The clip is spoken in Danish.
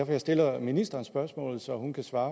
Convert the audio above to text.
jeg stiller ministeren spørgsmålet så hun kan svare